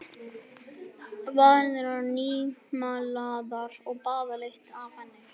Varirnar nýmálaðar og baðlykt af henni.